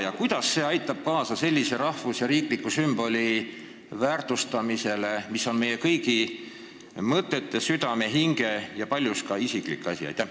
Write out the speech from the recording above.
Ja kuidas aitab see kaasa sellise rahvus- ja riikliku sümboli väärtustamisele, mis on meie kõigi mõtetes, südames ja hinges ning paljuski isiklik asi?